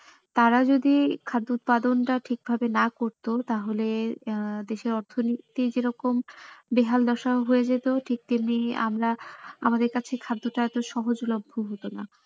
তারা যদি খাদ্য উৎপাদনটা ঠিক ভাবে না করতো তাহলে আহ আমাদের দেশে অর্থনীতি যেরকম বেহাল দশা হয়ে যেত ঠিক তেমনি আমরা আমাদের কাছে খাদ্যটা এতো ঠিক সহজ লভ্য হতো না।